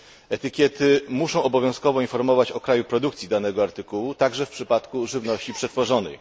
Etykiety muszą obowiązkowo informować o kraju produkcji danego artykułu, także w przypadku żywności przetworzonej.